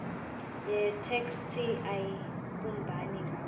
yetheksthi ayibumbani ngaso